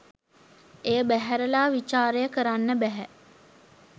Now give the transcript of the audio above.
එය බැහැරලා විචාරය කරන්න බැහැ.